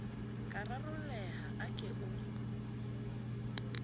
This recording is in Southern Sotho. ka rarolleha a ke o